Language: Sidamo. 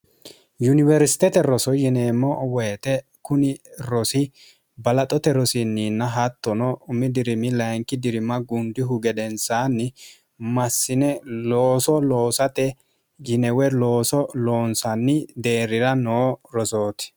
yuniwersitete roso yineemmo woyite kuni rosi balaxote rosiinniinna hattono mdirim lyink dirim gundihu gedensaanni massine looso loosaxe yinewe looso loonsanni deerrira noo rosooti